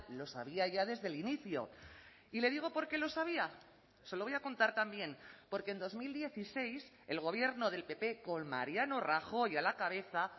lo sabía ya desde el inicio y le digo por qué lo sabía se lo voy a contar también porque en dos mil dieciséis el gobierno del pp con mariano rajoy a la cabeza